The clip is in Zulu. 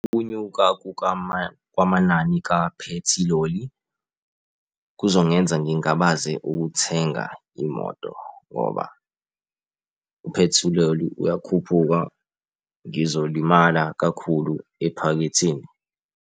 Ukunyuka kwamanani kaphethiloli kuzongenza ngingabaze ukuthenga imoto ngoba uphethiloli uyakhuphuka, ngizolimala kakhulu ephaketheni.